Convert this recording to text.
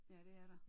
Ja det er der